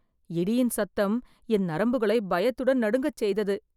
இடியின் சத்தம் என் நரம்புகளை பயத்துடன் நடுங்கச் செய்தது.